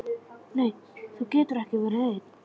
Nei þú getur ekki verið ein.